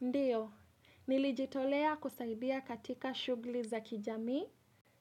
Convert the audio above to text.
Ndiyo, nilijitolea kusaidia katika shughuli za kijamii,